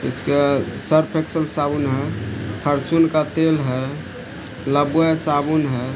इसके Surf Excel साबुन है फार्च्यून का तेल है लाइफबॉय साबुन है।